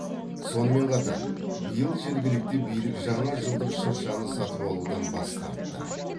сонымен қатар биыл жергілікті билік жаңа жылдық шыршаны сатып алудан бас тартты